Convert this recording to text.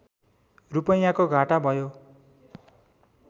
रूपैयाँको घाटा भयो